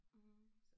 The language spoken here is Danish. Mhm